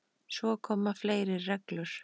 Svo koma fleiri reglur.